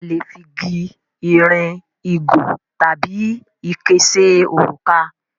A lè fi gi, ìrìn, ìgò tabi ike ṣe òrùka.